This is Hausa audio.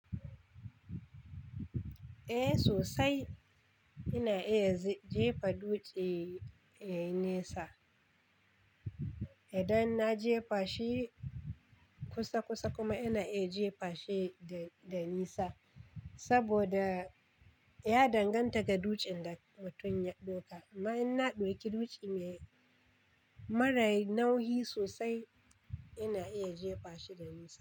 Eh sosai ina iya jefa dutse yayi nesa. Idan na jefa shi kusa kusa kuma ina iya jefa shi da nisa. Saboda ya danganta ga dujen da mutum ya ɗauka. Amma in na ɗauki dutse mai mara nauyi sosai ina iya jefa shi da nisa.